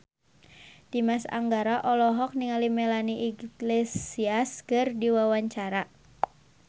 Dimas Anggara olohok ningali Melanie Iglesias keur diwawancara